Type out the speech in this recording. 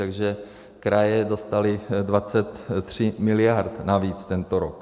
Takže kraje dostaly 23 mld. navíc tento rok.